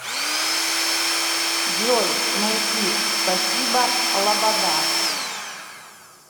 джой найди спасибо лобода